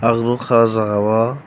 ang nogka o jaga o.